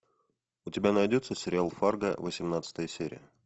у тебя найдется сериал фарго восемнадцатая серия